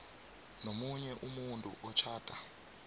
nomunye umuntu otjhada